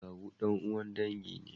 Kawu dan'uwan dangi ne.